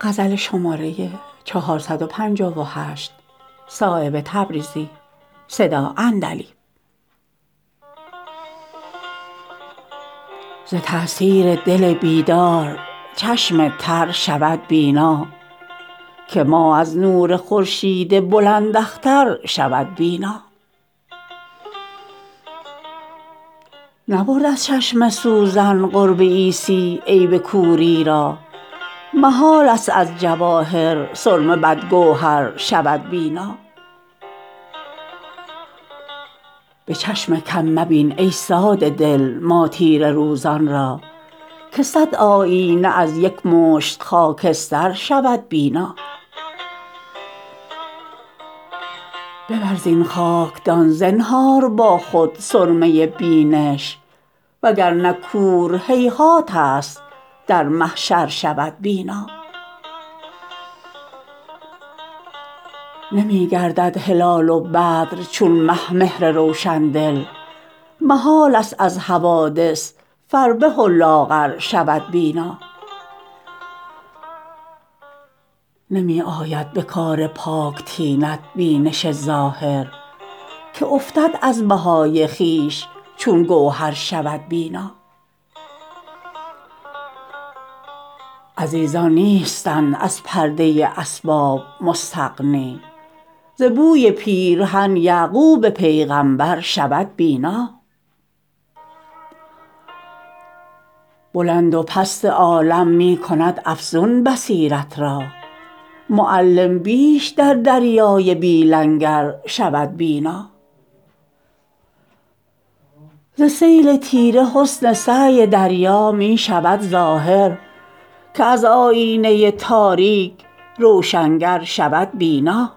ز تأثیر دل بیدار چشم تر شود بینا که ماه از نور خورشید بلند اختر شود بینا نبرد از چشم سوزن قرب عیسی عیب کوری را محال است از جواهر سرمه بد گوهر شود بینا به چشم کم مبین ای ساده دل ما تیره روزان را که صد آیینه از یک مشت خاکستر شود بینا ببر زین خاکدان زنهار با خود سرمه بینش وگرنه کور هیهات است در محشر شود بینا نمی گردد هلال و بدر چون مه مهر روشندل محال است از حوادث فربه و لاغر شود بینا نمی آید به کار پاک طینت بینش ظاهر که افتد از بهای خویش چون گوهر شود بینا عزیزان نیستند از پرده اسباب مستغنی ز بوی پیرهن یعقوب پیغمبر شود بینا بلند و پست عالم می کند افزون بصیرت را معلم بیش در دریای بی لنگر شود بینا ز سیل تیره حسن سعی دریا می شود ظاهر که از آیینه تاریک روشنگر شود بینا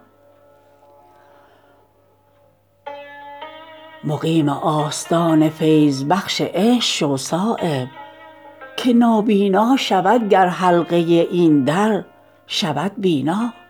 مقیم آستان فیض بخش عشق شو صایب که نابینا شود گر حلقه این در شود بینا